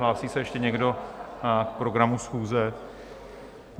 Hlásí se ještě někdo k programu schůze?